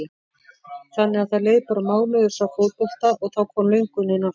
Þannig að það leið bara mánuður frá fótbolta og þá kom löngunin aftur?